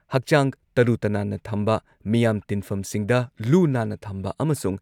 ꯍꯛꯆꯥꯡ ꯇꯔꯨ-ꯇꯅꯥꯟꯅ ꯊꯝꯕ, ꯃꯤꯌꯥꯝ ꯇꯤꯟꯐꯝꯁꯤꯡꯗ ꯂꯨ-ꯅꯥꯟꯅ ꯊꯝꯕ ꯑꯃꯁꯨꯡ